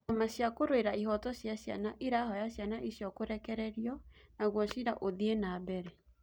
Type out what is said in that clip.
Ciama cia kũrũera ihoto cia ciana irahoya ciana icio kũrekerio naguo cira ũthie nambere